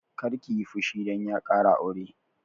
Kar kiyi fushi dan ya ƙara aure!